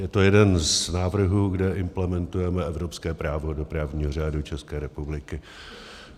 Je to jeden z návrhů, kde implementujeme evropské právo do právního řádu České republiky.